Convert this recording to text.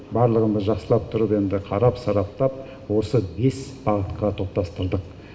барлығын біз жақсылап тұрып енді қарап сараптап осы бес бағытқа топтастырдық